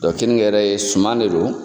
keninke yɛrɛ suman de don.